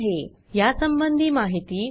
यासंबंधी माहिती पुढील साईटवर उपलब्ध आहे